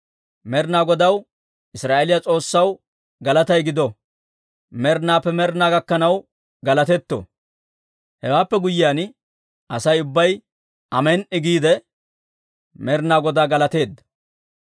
Med'inaa Godaw, Israa'eeliyaa S'oossaw galatay gido. Med'inaappe med'ina gakkanaw galatetto! Hewaappe guyyiyaan Asay ubbay, «Amen"i» giide, Med'inaa Godaa galateedda.